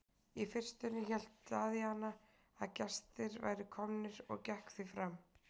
Í fyrstunni hélt Daðína að gestir væru komnir og gekk því fram.